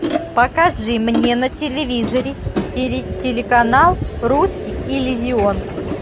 покажи мне на телевизоре телеканал русский иллюзион